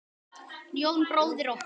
Jón bróðir okkar.